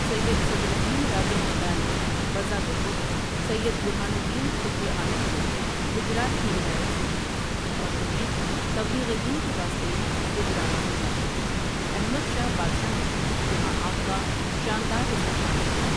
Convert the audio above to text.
سید صدرالدین راجو قتال نے بذات خود سید ب رہان الدین قطبِ عالم کو گجرات کی وِلایت سونپی اور انہیں تبلیغِ دین کے واسطے گجرات بھیجا احمد شاہ بادشاہ نے یہاں آپ کا شاندار اِستقبال کیا ۔